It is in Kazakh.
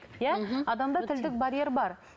иә адамда тілдік барьер бар